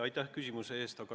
Aitäh küsimuse eest!